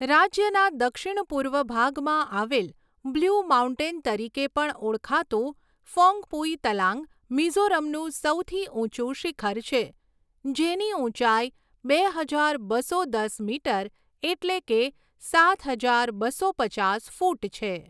રાજ્યના દક્ષિણ પૂર્વ ભાગમાં આવેલ બ્લુ માઉન્ટેન તરીકે પણ ઓળખાતું ફૌંગપુઈ તલાંગ, મિઝોરમનું સૌથી ઊંચું શિખર છે, જેની ઊંચાઈ બે હજાર બસો દસ મીટર એટલે કે સાત હજાર બસો પચાસ ફૂટ છે.